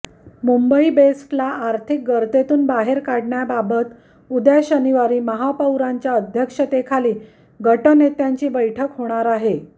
मुंबई बेस्टला आर्थिक गर्तेतून बाहेर काढण्याबाबत उद्या शनिवारी महापौरांच्या अध्यक्षतेखाली गटनेत्यांची बैठक होणार आहे